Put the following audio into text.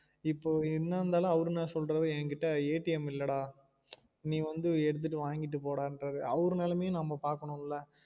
இப்ப என்ன இருந்தாலும் அவரு என்ன சொல்றாரு என்கிட்ட இல்ல டா நீ வந்து எடுத்துட்டு வாங்கிட்டு போடான்றாரு அவரு நலமையும் நம்ம பாக்கணும் ல